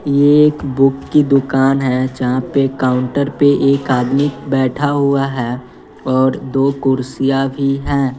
ये एक बुक की दुकान है जहां पे काउंटर पे एक आदमी बैठा हुआ है और दो कुर्सियां भी हैं।